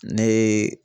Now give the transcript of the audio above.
Ne ye